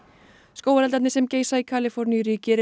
skógareldarnir sem geisa í Kaliforníuríki eru